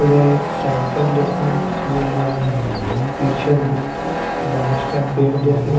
उधर एक साइकल देखने मिल रहा है पीछे में बांस का पेड़ देखने --